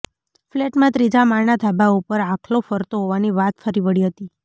ફ્લેટના ત્રીજા માળના ધાબા ઉપર આખલો ફરતો હોવાની વાત ફરી વળી હતી